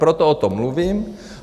Proto o tom mluvím.